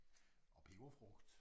Og peberfrugt